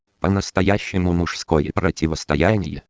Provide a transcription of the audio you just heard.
по-настоящему мужское противостояние